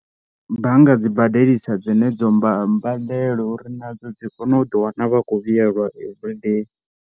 Bannga dzi badelisa dzenedzo mba mbandelo uri nadzo dzi kone u ḓiwana vha kho vhuyelwa every day.